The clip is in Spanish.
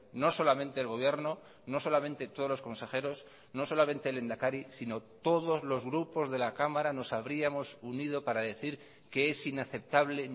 no solamente el gobierno no solamente todos los consejeros no solamente el lehendakari sino todos los grupos de la cámara nos habríamos unido para decir que es inaceptable